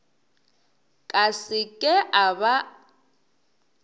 ka se ke a ba